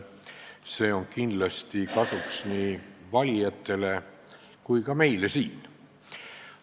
See on kindlasti kasuks nii valijatele kui ka meile siin.